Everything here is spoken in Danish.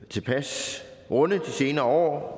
tilpas runde i de senere år